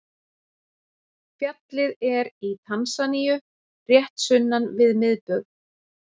Fjallið er í Tansaníu rétt sunnan við miðbaug.